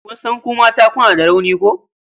Kin san ku mata kuna da rauni ko?